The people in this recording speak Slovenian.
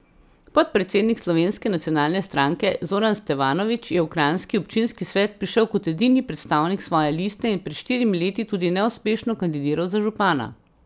Podpredsednik Slovenske nacionalne stranke Zoran Stevanović je v kranjski občinski svet prišel kot edini predstavnik svoje liste in pred štirimi leti tudi neuspešno kandidiral za župana.